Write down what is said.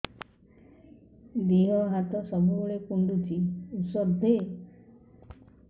ଦିହ ହାତ ସବୁବେଳେ କୁଣ୍ଡୁଚି ଉଷ୍ଧ ଦେ